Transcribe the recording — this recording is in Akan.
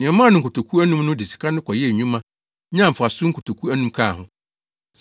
Nea ɔmaa no nkotoku anum no de sika no kɔyɛɛ adwuma, nyaa mfaso nkotoku anum kaa ho.